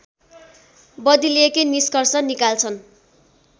बदलिएकै निष्कर्ष निकाल्छन्